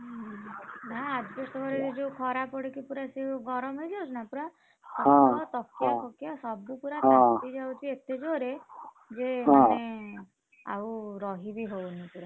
ନାଁ asbestos ଘରେ ସେ ଯୋଉ ଖରା ପଡିକି ପୁରା ସେ ଯୋଉଗରମ ହେଇଯାଉଛି ନା ଖଟ ତକିଆ ଫକୀୟା ସବୁ ପୁର ତାତି ଯାଉଛି ଏତେ ଜୋରେ ଯେ ମାନେ ଆଉ ରହି ବି ହଉନି ପୁରା।